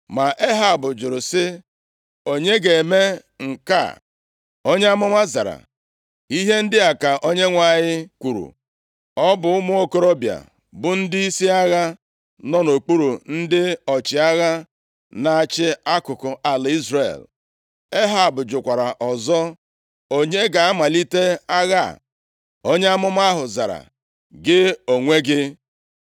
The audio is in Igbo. Ma Ehab jụrụ sị, “Onye ga-eme nke a?” Onye amụma zara, “Ihe ndị a ka Onyenwe anyị kwuru, ‘Ọ bụ ụmụ okorobịa bụ ndịisi agha nọ nʼokpuru ndị ọchịagha na-achị akụkụ ala Izrel.’ ” Ehab jụkwara ọzọ, “Onye ga-amalite agha a?” Onye amụma ahụ zara, “Gị onwe gị.”